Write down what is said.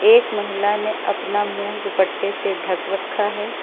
एक महिला ने अपना मुंह दुपट्टे से ढक रखा है।